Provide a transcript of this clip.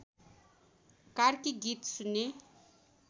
कार्की गीत सुन्ने